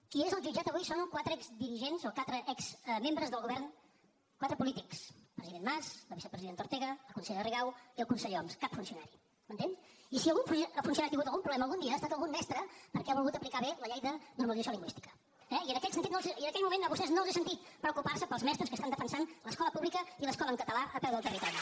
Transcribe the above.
qui és al jutjat avui són quatre exdirigents o quatre exmembres del govern quatre polítics el president mas la vicepresidenta ortega la consellera rigau i el conseller homs cap funcionari m’entén i si algun funcionari ha tingut algun problema algun dia ha estat algun mestre perquè ha volgut aplicar bé la llei de normalització lingüística eh i en aquell moment a vostès no els he sentit preocupar se pels mestres que estan defensant l’escola pública i l’escola en català a peu del territori